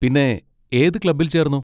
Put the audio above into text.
പിന്നെ ഏത് ക്ലബ്ബിൽ ചേർന്നു?